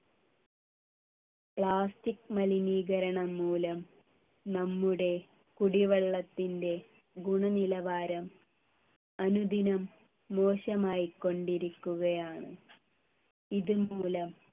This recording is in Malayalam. plastic മലിനീകരണം മൂലം നമ്മുടെ കുടിവെള്ളത്തിൻ്റെ ഗുണനിലവാരം അനുദിനം മോശമായികൊണ്ടിരിക്കുകയാണ് ഇതുമൂലം